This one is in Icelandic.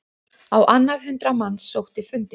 Á annað hundrað manns sótti fundinn